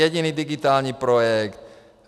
Jediný digitální projekt.